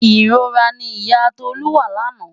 Ìrora ni ìyá Tolú wà lánàá.